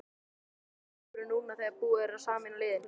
Hvernig er hópurinn núna þegar búið er að sameina liðin?